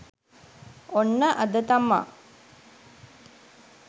ඔන්න අද තමා